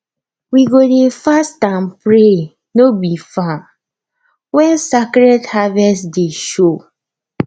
we go dey fast and pray no be farm when sacred harvest day show